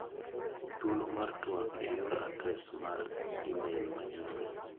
Thuolo mar tuak e yor adres mar imel ma nyoro.